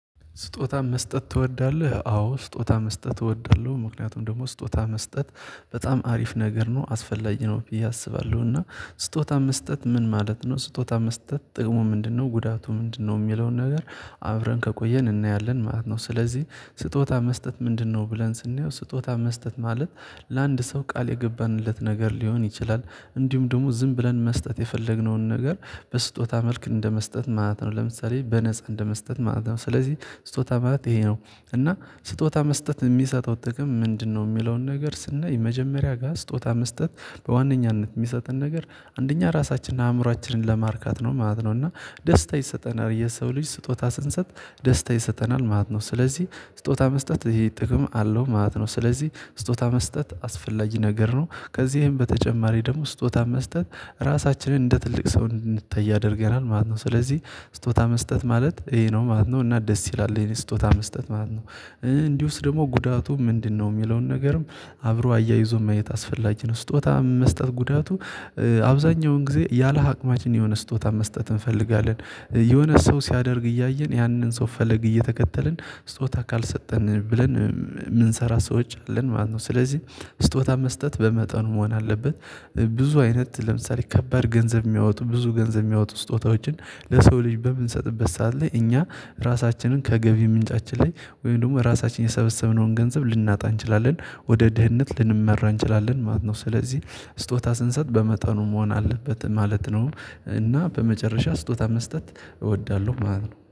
ስጦታ መስጠት ትወዳለህ? አዎ ስጦታ መስጠት እወዳለሁ ምክንያቱም ደግሞ ስጦታ መስጠት በጣም አሪፍ ነገር ነው አስፈላጊ ነው ብዬ አስባለሁ። እና ስጦታ መስጠት ምን ማለት ነው? ስጦታ መስጠት ጥቅሙ ምንድነው ጉዳቱ ምንድነው የሚለውን ነገር አብረን ከቆየን እናያለን ማለት ነው። ስለዚህ ስጦታ መስጠት ምንድነው ብለን ስናየው ስጦታ መስጠት ማለት ለአንድ ሰው ቃል የገባንለት ነገር ሊሆን ይችላል። እንዲሁም ደግሞ ዝም ብለን መስጠት የፈለግነውን ነገር በስጦታ መልክ እንደመስጠት ማለት ነው ለምሳሌ በነፃ እንደመስጠት ማለት ነው። ስለዚህ ስጦታ ማለት ይሄ ነው። እና ስጦታ መስጠት የሚሰጠው ጥቅም ምንድነው የሚለውን ነገር ስናይ የመጀመሪያ ጋር ስጦታ መስጠት በዋነኛነት የሚሰጠን ነገር አንደኛ ራሳችንን አእምሮአችንን ለማርካት ነው ማለት ነው። እና ደስታ ይሰጠናል የሰው ልጅ ስጦታ ስንሰጥ ደስታ ይሰጠናል ማለት ነው። ስለዚህ ስጦታ መስጠት ይሄ ጥቅም አለው ማለት ነው። ስለዚህ ስጦታ መስጠት አስፈላጊ ነገር ነው ከዚህም በተጨማሪ ደግሞ ስጦታ መስጠት ራሳችንን እንደ ትልቅ ሰው እንድንታይ ያደርገናል ማለት ነው። ስለዚህ ስጦታ መስጠት ማለት ይሄ ነው ማለት ነው እና ደስ ይላል የኔ ስጦታ መስጠት ማለት ነው። እንዲሁስ ደግሞ ጉዳቱ ምንድነው? የሚለውን ነገርም አብሮ አያይዞ ማየት አስፈላጊ ነው። ስጦታ መስጠት ጉዳቱ አብዛኛውን ጊዜ ያለ አቅማችን የሆነ ስጦታ መስጠት እንፈልጋለን የሆነ ሰው ሲያደርግ እያየን ያንን ሰው ፈለግ እየተከተልን ስጦታ ካልሰጠን ብለን የምንሰራ ሰወች አለን ማለት ነው። ስለዚህ ስጦታ መስጠት በመጠኑ መሆን አለበት። ብዙ አይነት ለምሳሌ ከባድ ገንዘብ የሚያወጡ ብዙ ገንዘብ የሚያወጡ ስጦታዎችን ለሰው ልጅ በምንሰጥበት ሰዓት ላይ እኛ ራሳችንን ከገቢ ምንጫችን ላይ ወይም ደግሞ ራሳችን የሰበሰብነውን ገንዘብ ልናጣ እንችላለን ወደ ድህነት ልንመራ እንችላለን ማለት ነው። ስለዚህ ስጦታ ስንሰጥ በመጠኑ መሆን አለበት ማለት ነው። እና በመጨረሻ ስጦታ መስጠት እወዳለሁ ማለት ነው